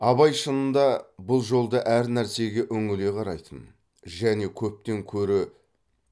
абай шынында бұл жолда әр нәрсеге үңіле қарайтын және көптен көрі